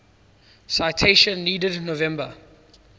citation needed november